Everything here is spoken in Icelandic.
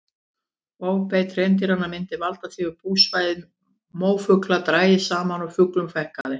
Ofbeit hreindýranna myndi valda því að búsvæði mófugla drægist saman og fuglum fækkaði.